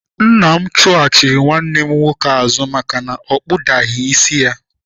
Nna m chụghachiri nwanne m nwoke azụ maka na o kpudaghị isi ya.